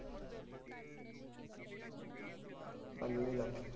ਪੰਜਵੀਂ